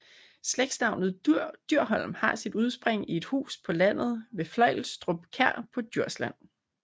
Slægtsnavnet Dyrholm har sit udspring i et hus på landet ved Fløjstrup Kær på Djursland